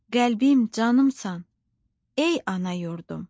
Qəlbim, canımsan, ey ana yurdum.